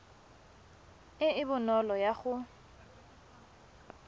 e e bonolo ya go